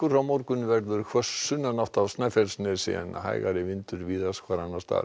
á morgun verður hvöss sunnanátt á Snæfellsnesi en hægari vindur víðast hvar annars staðar